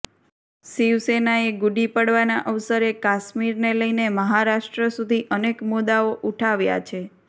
શિવસેનાએ ગુડી પડવાના અવસરે કાશ્મીરને લઇને મહારાષ્ટ્ર સુધી અનેક મુદ્દાઓ ઉઠાવ્યા છે